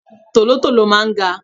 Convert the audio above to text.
Tolontolo máa ń ga.